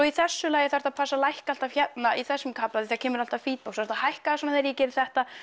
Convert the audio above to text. í þessu lagi þarftu að passa að lækka alltaf hérna í þessum kafla því það kemur alltaf feedback svo þarftu að hækka svona þegar ég geri þetta